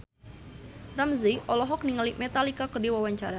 Ramzy olohok ningali Metallica keur diwawancara